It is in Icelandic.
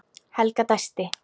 Helga dæsti.